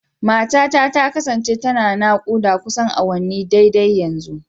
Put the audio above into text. Matata ta kasance tana naƙuda kusan awanni daidai yanzu.